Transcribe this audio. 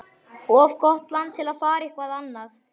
Of gott land til að fara eitthvað annað.